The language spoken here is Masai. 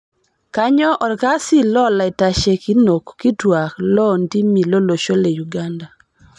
Kainyoo olkasi lolaitashekinok kituaak loo ntimi tolosho le Uganda